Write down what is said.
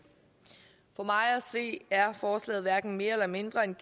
for mig at se er forslaget hverken mere eller mindre en